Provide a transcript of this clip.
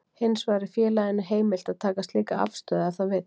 Hins vegar er félaginu heimilt að taka slíka afstöðu ef það vill.